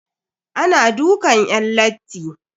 Ana dukan yan latti.